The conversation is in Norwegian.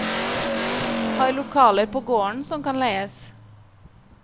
Har lokaler på gården som kan leies.